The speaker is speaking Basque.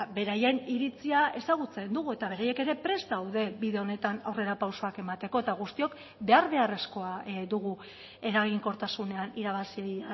beraien iritzia ezagutzen dugu eta beraiek ere prest daude bide honetan aurrerapausoak emateko eta guztiok behar beharrezkoa dugu eraginkortasunean irabazi